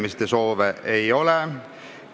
Kõnesoove ei ole.